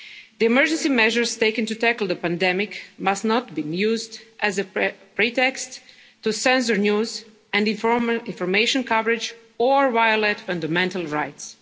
scrutiny. The emergency measures taken to tackle the pandemic must not be used as a pretext to censor news and informal information coverage or to violate fundamental